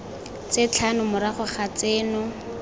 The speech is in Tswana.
tse tlhano morago ga tseno